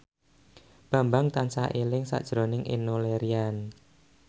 Bambang tansah eling sakjroning Enno Lerian